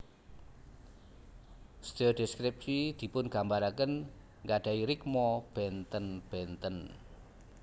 Sedaya deskripsi dipungambaraken nggadahi rikma benten benten